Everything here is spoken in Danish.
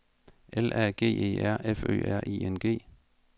L A G E R F Ø R I N G